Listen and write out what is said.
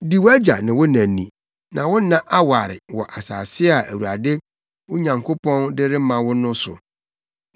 Di wʼagya ne wo na ni na wo nna aware wɔ asase a Awurade, wo Nyankopɔn, de rema wo no so.